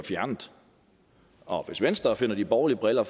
fjernet og hvis venstre sætter de borgerlige briller